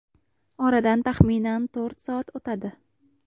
Oradan taxminan to‘rt soat o‘tadi.